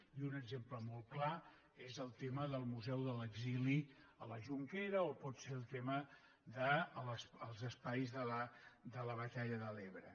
i un exemple molt clar és el tema del museu de l’exili a la jonquera o pot ser el tema dels espais de la batalla de l’ebre